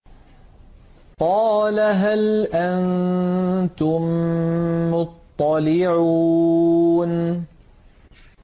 قَالَ هَلْ أَنتُم مُّطَّلِعُونَ